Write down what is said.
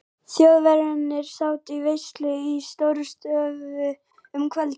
Þjóðverjarnir sátu veislu í Stórustofu um kvöldið.